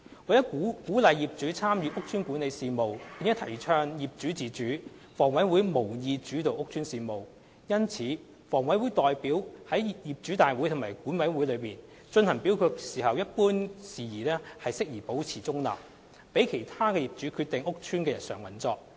為了鼓勵業主參與屋邨管理事務並提倡業主自主，房委會無意主導屋邨事務。因此，房委會代表於業主大會及管委會進行表決一般管理事宜時保持中立，讓其他業主決定屋邨的日常運作。